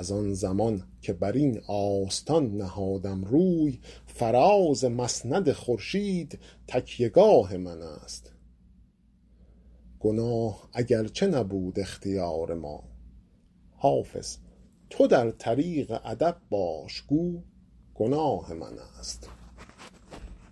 از آن زمان که بر این آستان نهادم روی فراز مسند خورشید تکیه گاه من است گناه اگرچه نبود اختیار ما حافظ تو در طریق ادب باش گو گناه من است